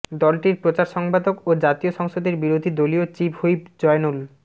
দলটির প্রচার সম্পাদক ও জাতীয় সংসদের বিরোধী দলীয় চিফ হুইপ জয়নুল